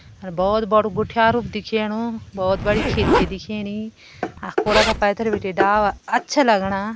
भोत बड़ु गुठयारु दिख्येणु भोत बड़ी खिड़की दिखेणी अ कुड़ा पैथर बिटि डाला अच्छा लगणा।